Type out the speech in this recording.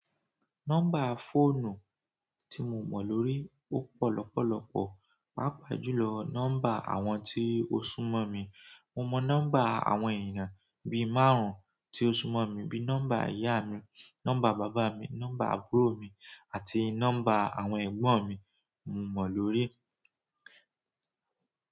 Nọ́mbà fóònù tí mo mọ̀ lórí ó pọ̀ lọ́pọ̀lọ́pọ̀, pàápàá jùlọ nọ́mbà àwọn tí ó súnmọ̀ mi. Mo mọ̀ nọ́mbà àwọn èèyàn bi márùn-ún tí ó súnmọ̀ mi bí nọ́mbà ìyá mi, nọ́mbà bàbá mi, nọ́mbà àbúrò mi àti nọ́mbà àwọn ẹ̀gbọ́n mi, mo mọ̀ lórí.